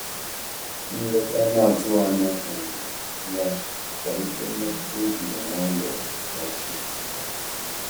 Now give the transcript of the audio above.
Nleta anatughi anya um ya kwalite mmetụta o jiri nwayo kpochie.